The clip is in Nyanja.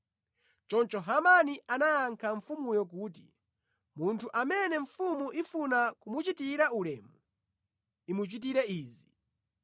Choncho Hamani anayankha mfumuyo kuti, “Munthu amene mfumu ifuna kumuchitira ulemu, imuchitire izi: